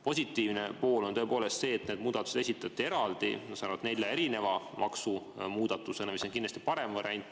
Positiivne pool on tõepoolest see, et need muudatused esitati eraldi nelja maksumuudatusena, mis on kindlasti parem variant.